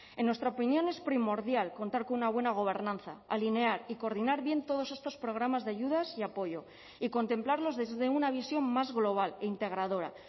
en nuestra opinión es primordial contar con una buena gobernanza alinear y coordinar bien todos estos programas de ayudas y apoyo y contemplarlos desde una visión más global e integradora